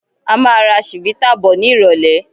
A máa ra chivita bọ̀ ni irọ̀lẹ́